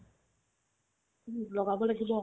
উম্, লগাব লাগিব